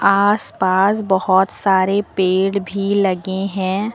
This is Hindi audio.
आस पास बहोत सारे पेड़ भी लगे हैं।